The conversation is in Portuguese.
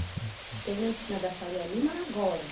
Enfim. Bem na esquina da Faria Lima agora.